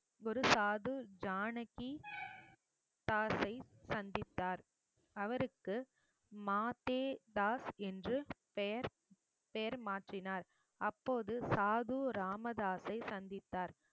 ஒரு சாது ஜானகி தாஸை சந்தித்தார் அவருக்கு மாதே தாஸ் என்று பெயர் பெயர் மாற்றினார் அப்போது சாது ராமதாசை சந்தித்தார்